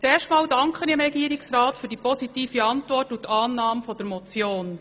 Zunächst danke ich dem Regierungsrat für seine positive Antwort und die Annahme dieser Motion.